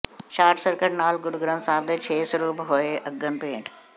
short circuit ਨਾਲ ਗੁਰੂ ਗ੍ਰੰਥ ਸਾਹਿਬ ਦੇ ਛੇ ਸਰੂਪ ਹੋਏ ਅਗਨ ਭੇਟ